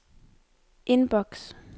indboks